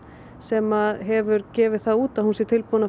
sem hefur gefið það út að hún sé tilbúin